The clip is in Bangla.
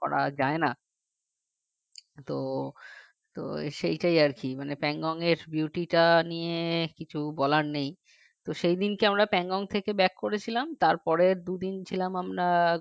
করা যায় না তো তো সেটাই আর কি Pangong এর beauty টা নিয়ে কিছু বলার নেই তো সেদিন কি আমরা Pangong থেকে back করেছিলাম তারপরের দুদিন ছিলাম আমরা